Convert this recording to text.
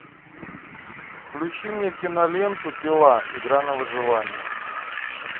включи мне киноленту пила игра на выживание